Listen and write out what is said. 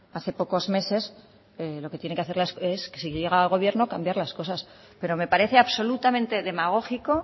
hace pocos meses lo que tiene que hacer es si llega al gobierno cambiar las cosas pero me parece absolutamente demagógico